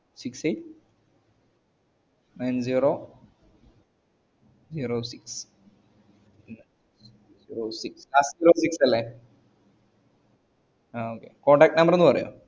six eight nine zero zero six മ് zero six zero six ല്ലെ അഹ് okay contact number ഒന്നു പറയോ